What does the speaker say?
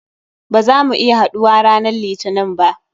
Ba za mu iya haɗuwa ranan litinin ba.